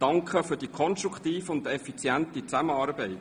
Danke, für die konstruktive und effiziente Zusammenarbeit.